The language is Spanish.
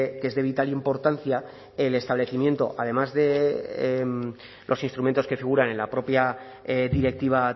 que es de vital importancia el establecimiento además de los instrumentos que figuran en la propia directiva